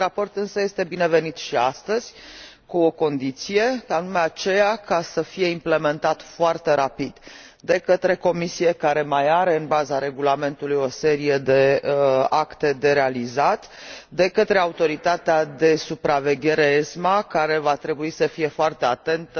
Acest raport este însă binevenit și astăzi, cu o condiție, și anume aceea să fie implementat foarte rapid de către Comisie, care mai are, în baza regulamentului, o serie de acte de realizat și de către autoritatea de supraveghere ESMA, care va trebui să fie foarte atentă